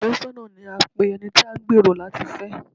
Afẹ́sọ́nà ni à ń pe ẹni tí a ń gbẹ̀rò láti fẹ́.